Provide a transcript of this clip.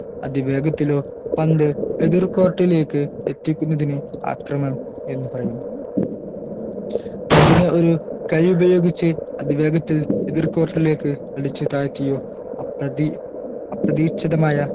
അതിവേഗത്തിലോ പന്ത് എതിർ court ലേക്ക് എത്തിക്കുന്നതിന് ആക്രമണം എന്ന് പറയുന്നു പന്തിനെ ഒരു കൈ ഉപയോഗിച്ച് അതിവേഗത്തിൽ എതിർ court ലേക്ക് അടിച്ചു താഴ്ത്തിയോ അപ്രതീ അപ്രതീക്ഷിതമായ